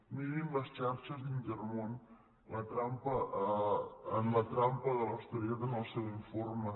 mirin les xarxes d’intermón en la trampa de l’austeritat en el seu informe